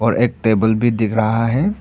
एक टेबल भी दिख रहा है।